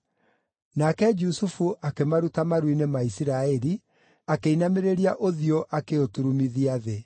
Nake Jusufu akĩmaruta maru-inĩ ma Isiraeli, akĩinamĩrĩria ũthiũ akĩũturumithia thĩ.